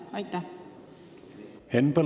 Aitäh!